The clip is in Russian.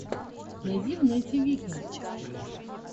найди в нете викинг